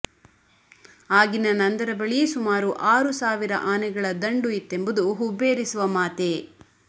ಆಗಿನ ನಂದರ ಬಳಿ ಸುಮಾರು ಆರು ಸಾವಿರ ಆನೆಗಳ ದಂಡು ಇತ್ತೆಂಬುದು ಹುಬ್ಬೇರಿಸುವ ಮಾತೇ